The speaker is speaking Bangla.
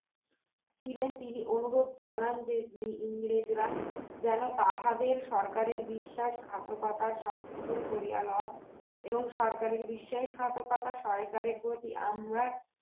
ছিলেন তিনি অনুভব কালোদের ইংরেজরা তাহাদের সরকারের বিশ্বাস ঘাতকতার সংশোধন করিয়া লয় এবং সরকারের বিশ্বাসঘাতকতার সরকারের যদি অন্য